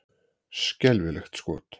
Skelfilegt skot!